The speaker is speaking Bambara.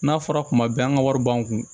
N'a fɔra kuma bɛɛ an ka wari b'an kun